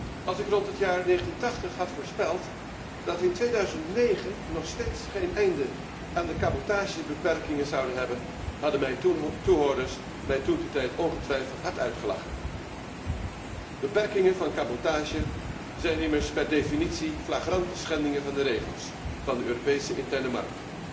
Als ik rond het jaar 1980 had voorspeld dat wij in 2009 nog steeds geen einde aan de cabotagebeperkingen zouden hebben, hadden mijn toehoorders mij toentertijd ongetwijfeld hard uitgelachen. Beperkingen van cabotage zijn immers per definitie flagrante schendingen van de regels van de Europese interne markt.